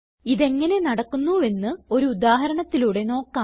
ഇതെങ്ങനെ നടക്കുന്നുവെന്ന് ഒരു ഉദാഹരണത്തിലൂടെ നോക്കാം